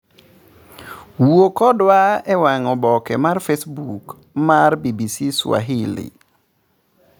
Wuoo kodwa e wang' oboke mar facebook mar bbcswahili.